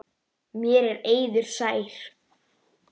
Mér er eiður sær.